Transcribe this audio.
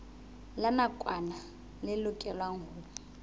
la nakwana le lokelwang ho